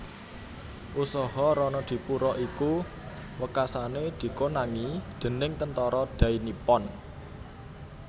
Usaha Ronodipuro iku wekasané dikonangi déning Tentara Dai Nippon